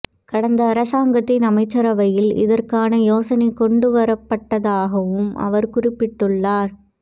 கடந்த அரசாங்கத்தின் அமைச்சரவையில் இதற்கான யோசனை கொண்டுவரப்பட்டதாகவும் அவர் குறிப்பிட்டுள்ளார்